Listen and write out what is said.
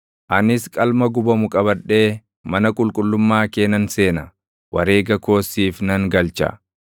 Anis qalma gubamu qabadhee // mana qulqullummaa kee nan seena; wareega koos siif nan galcha;